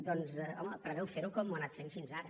doncs home preveu fer ho com ho ha anat fent fins ara